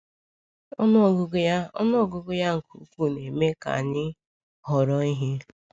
Ọnụ ọgụgụ ya Ọnụ ọgụgụ ya nke ukwuu na-eme ka anyị họrọ ihe.